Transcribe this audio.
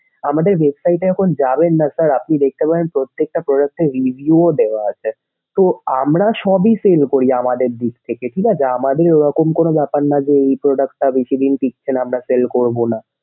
আমাদের website এখন যাবেন না sir আপনি দেখতে পারেন প্রত্যেক্টা product এর video দেওয়া আছে। তো আমরা সবই sell করি আমাদের দিক থেকে ঠিক আছে। আমাদের ওরকম কোনো ব্যাপারনা যে এই product টা বেশিদিন ঠিকবেনা বা আমরা sell করবো না।